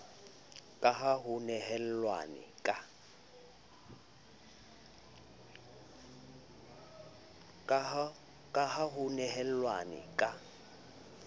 ka ha ho nehelanwe ka